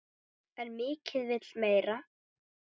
En mikið vill meira.